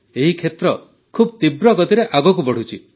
ଏହି କ୍ଷେତ୍ର ବହୁତ ତୀବ୍ର ଗତିରେ ଆଗକୁ ବଢ଼ୁଛି